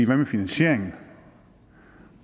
hvad med finansieringen